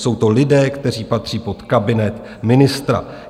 Jsou to lidé, kteří patří pod kabinet ministra.